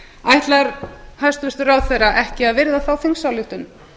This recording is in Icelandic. ætlar hæstvirtur ráðherra ekki að virða þá þingsályktun